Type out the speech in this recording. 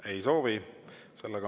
Ei soovi.